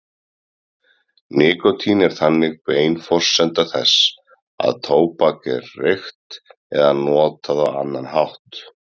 Nikótín er þannig bein forsenda þess að tóbak er reykt eða notað á annan hátt.